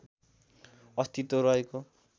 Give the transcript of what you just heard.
अस्तित्व रहेको